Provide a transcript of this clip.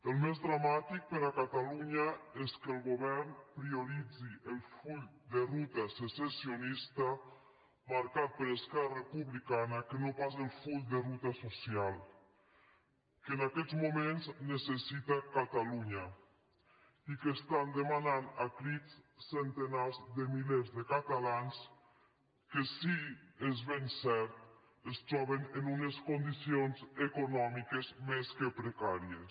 el més dramàtic per a catalunya és que el govern prioritzi el full de ruta secessionista marcat per esquerra republicana que no pas el full de ruta social que en aquests moments necessita catalunya i que estan demanat a crits centenars de milers de catalans que sí és ben cert es troben en unes condicions econòmiques més que precàries